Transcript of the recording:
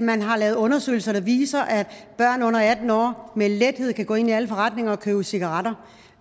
man har lavet undersøgelser der viser at børn under atten år med lethed kan gå ind i alle forretninger og købe cigaretter